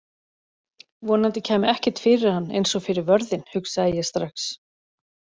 Vonandi kæmi ekkert fyrir hann eins og fyrir vörðinn, hugsaði ég strax.